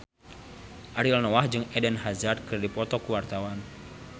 Ariel Noah jeung Eden Hazard keur dipoto ku wartawan